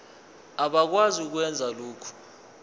abakwazi ukwenza lokhu